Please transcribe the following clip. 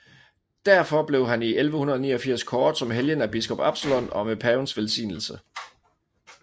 Derfor blev han i 1189 kåret som helgen af biskop Absalon og med pavens velsignelse